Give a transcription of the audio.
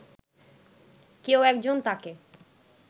কেউ একজন তাঁকে